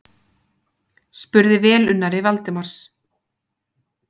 spurði velunnari Valdimars.